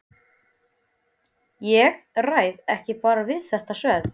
Ég ræð bara ekkert við þetta sverð!